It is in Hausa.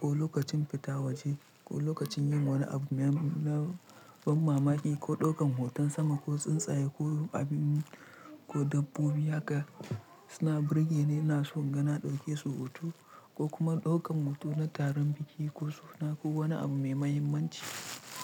ko lokacin fita waje ko lokacin yin wani abu na ban mamaki ko ɗaukan hoton sama ko tsuntsaye ko abin ko dabbobi haka. Suna burge ni ina son gana ɗauke su hoto ko kuma ɗaukan hoto na taron biki ko suna ko wani abu mai mahimmanci.